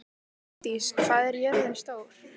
Ingdís, hvað er jörðin stór?